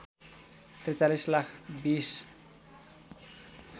४३ lakh २०